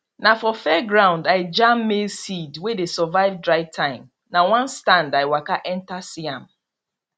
na for fairground i jam maize seed wey dey survive dry time na one stand i waka enter see am